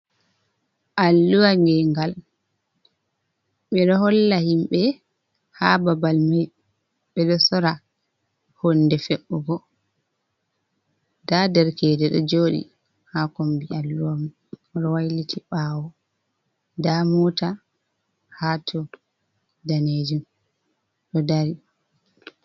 Aalluwa gengal ɓe ɗo holla himɓe ha babal mai ɓe ɗo sora hunɗe fe’ugo da derkedejo do jodi ha kombi alluwa wailiti bawo da muta ha to danejum do dari.